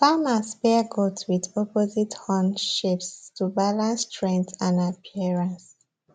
farmers pair goats with opposite horn shapes to balance strength and appearance